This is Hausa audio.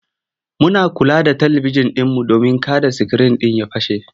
Muna kula da talibijin ɗinmu domin kada sikirin ɗin ya fashe.